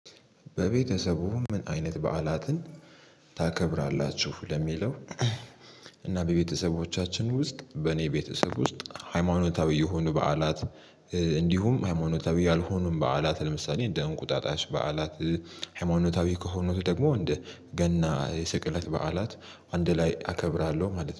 በቤተሰቡ ምን አይነት በዓላትን ታከብራላችሁ ለሚለው? እና በቤተሰቦቻችን ውስጥ በእኔ ቤተሰብ ውስጥ ሃይማኖታዊ የሆኑ በዓላት። እንዲሁም ሃይማኖታዊ ያልሆኑም በዓላት ለምሳሌ እንደ እንቁጣጣሽ በዓላት። ሃይማኖታዊ ከሆኑት ደግሞ እንደ ገና የስቅለት በዓላት አንድ ላይ አከብራለሁ ማለት ነው